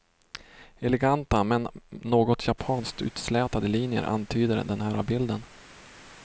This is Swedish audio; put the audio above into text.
Eleganta, men något japanskt utslätade linjer antyder den här bilden.